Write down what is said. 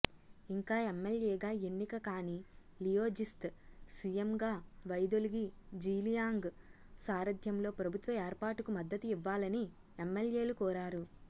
ఇంకా ఎమ్మెల్యేగా ఎన్నిక కాని లియోజిస్త్ సీఎంగా వైదొలిగి జీలియాంగ్ సారథ్యంలో ప్రభుత్వ ఏర్పాటుకు మద్దతు ఇవ్వాలని ఎమ్మెల్యేలు కోరారు